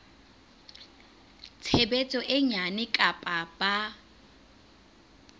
tshebetso e nyane kapa ba